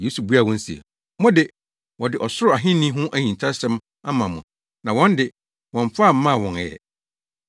Yesu buaa wɔn se, “Mo de, wɔde Ɔsoro Ahenni ho ahintasɛm ama mo na wɔn de, wɔmmfa mmaa wɔn ɛ.